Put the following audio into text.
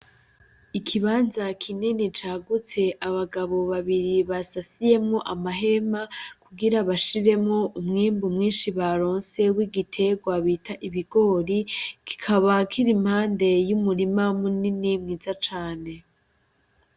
Ikibanza kinini cagutse, abagabo babiri basasiyemwo amahema kugira bashiremwo umwimbu mwinshi baronse wigiterwa bita ibigori, kikaba kir'impande y'umurima munini mwiza cane .